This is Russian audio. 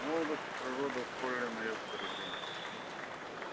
молодость и природа ускорили моё выздоровление